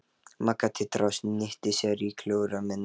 Magga titraði og snýtti sér í kjólermina.